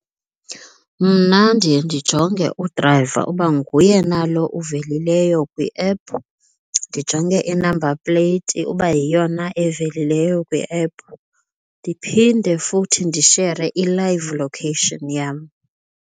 Mna ndiye ndijonge udrayiva uba nguye na lo uvelile kwi-app, ndijonge i-number plate uba yiyo na evelileyo kwi-app, ndiphinde futhi ndishere i-live location yam.